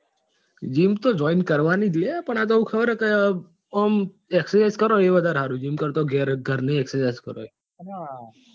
gym તો join કરવાનું જ લ્યા પણ આતો હું ખબર કે ઘર સારું